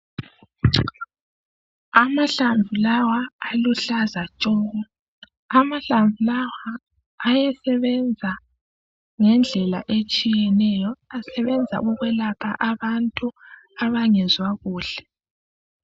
amahlamvu lawa aluhlaza tshoko amahlamvu ayesebenza ngendlela etshiyeneyo asebenza ukwelapha abantu abangezwa kuhle